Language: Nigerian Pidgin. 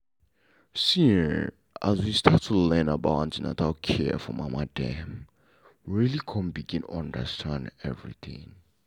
see[um]as we start to learn about an ten atal care for mama dem we really come begin understand everything.